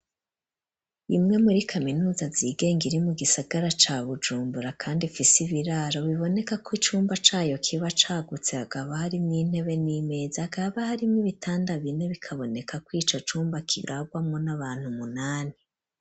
Imwe muri kaminuza zigenga iri mu gisagara ca Bujumbura kandi ifise ibiraro biboneka ko icumba cayo kiba cagutse hakaba harimwo intebe n'imeza hakaba harimwo ibitanda bine bikaboneka ko ico cumba kirarwamwo n'abantu munani.